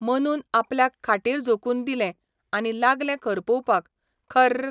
मनून आपल्याक खाटीर झोकून दिलें आनी लागलें खरपुवपाक, खर्रर्र!